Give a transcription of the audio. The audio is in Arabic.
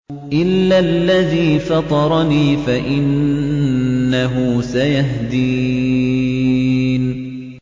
إِلَّا الَّذِي فَطَرَنِي فَإِنَّهُ سَيَهْدِينِ